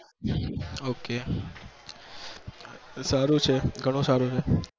ok તો સારું છે ઘણું સારું છે